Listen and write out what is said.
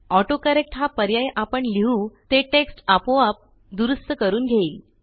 autocorrect हा पर्याय आपण लिहू ते टेक्स्ट आपोआप दुरूस्त करून घेईल